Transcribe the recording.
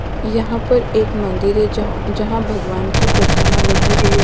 यहाँ पर एक मंदिर है जहाँ जहाँ भगवान की प्रतिमा लगी हुई है।